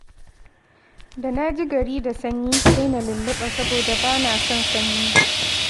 Da na ji gari da sanyi, sai na lulluɓa saboda ba na son sanyi